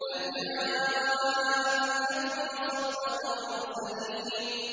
بَلْ جَاءَ بِالْحَقِّ وَصَدَّقَ الْمُرْسَلِينَ